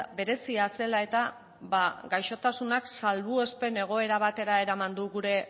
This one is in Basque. berezia zela eta gaixotasunak salbuespen egoera batera eraman du gure